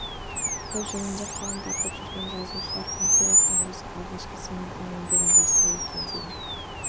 ол жөнінде қалам тартып жүрген жазушылар панфиловтың осы алғашқы сіңірген еңбегін жазса екен деймін